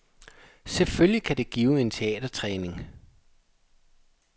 Selvfølgelig kan det give en teatertræning.